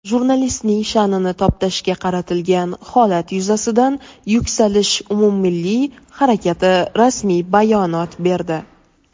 Jurnalistning sha’nini toptashga qaratilgan holat yuzasidan "Yuksalish" umummilliy harakati rasmiy bayonot berdi.